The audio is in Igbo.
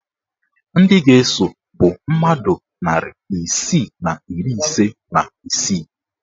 Ndị ga-eso bụ mmadụ narị isii na iri ise na isii